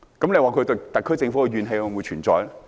你說他們對特區政府的怨氣會否存在？